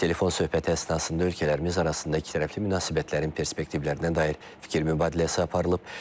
Telefon söhbəti əsnasında ölkələrimiz arasında ikitərəfli münasibətlərin perspektivlərinə dair fikir mübadiləsi aparılıb.